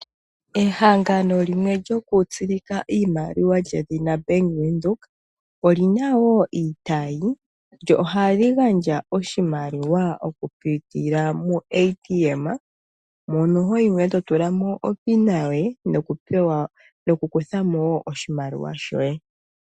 Ehangano limwe lyoku tsilika iimaliwa lyedhina Bank Widhoek, olina woo iitayi, lyo ohali gandja oshimaliwa okupitila muuATM, mono ho yimo eto tulamo opina yoye, noku kuthamo oshimaliwa shoye.